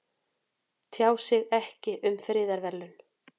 Tjá sig ekki um friðarverðlaun